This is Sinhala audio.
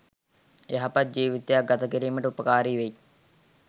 යහපත් ජීවිතයක් ගත කිරීමට උපකාරි වෙයි.